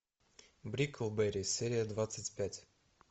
бриклберри серия двадцать пять